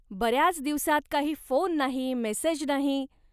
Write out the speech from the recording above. बऱ्याच दिवसात काही फोन नाही, मेसेज नाही.